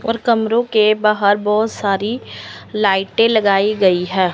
और कमरों के बाहर बहोत सारी लाइटे लगाई गई है।